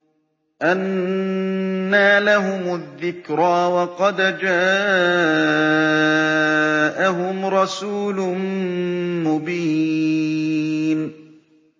أَنَّىٰ لَهُمُ الذِّكْرَىٰ وَقَدْ جَاءَهُمْ رَسُولٌ مُّبِينٌ